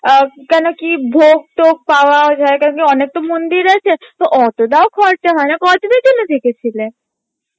আহ কেন কি ভোগ টোগ পাওয়ার অনেক তো মন্দির আছে টা অতটাও খরচা হয়না কদিনের জন্যে থেকেছিলে?